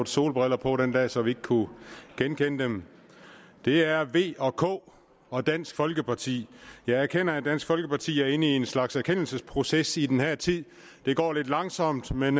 solbriller på den dag så vi ikke kunne genkende dem det er v og k og dansk folkeparti jeg erkender at dansk folkeparti er inde i en slags erkendelsesproces i den her tid det går lidt langsomt men